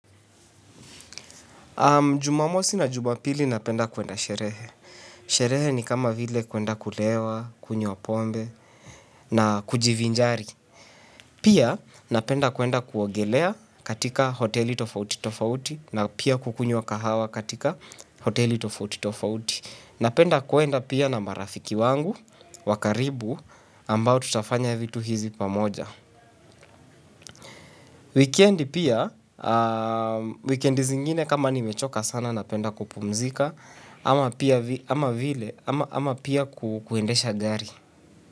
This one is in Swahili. Jumamosi na jumapili napenda kuenda sherehe. Sherehe ni kama vile kuenda kulewa, kunywa pombe na kujivinjari. Pia napenda kuenda kuogelea katika hoteli tofauti tofauti na pia kukunywa kahawa katika hoteli tofauti tofauti. Napenda kuenda pia na marafiki wangu wa karibu ambao tutafanya vitu hizi pamoja. Wikendi pia, wikendi zingine kama nimechoka sana napenda kupumzika ama pia kuendesha gari.